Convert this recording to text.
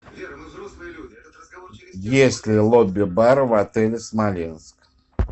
есть ли лобби бар в отеле смоленск